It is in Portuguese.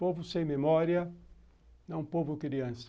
Povo sem memória é um povo criança.